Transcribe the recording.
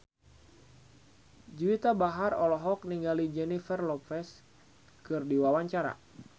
Juwita Bahar olohok ningali Jennifer Lopez keur diwawancara